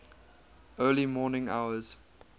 early morning hours